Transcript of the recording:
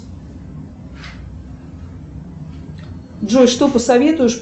джой что посоветуешь